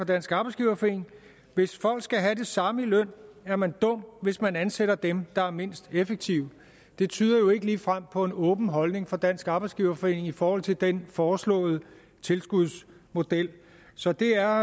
dansk arbejdsgiverforening hvis folk skal have det samme i løn er man dum hvis man ansætter dem der er mindst effektive det tyder jo ikke ligefrem på en åben holdning fra dansk arbejdsgiverforening i forhold til den foreslåede tilskudsmodel så det er